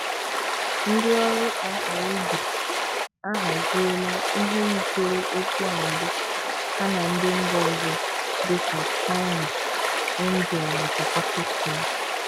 Ndị ọrụ IRB a haziela ihe yitere okwu a mbụ ha na ndị mba ọzọ dịka China, India nakwa Pakistan.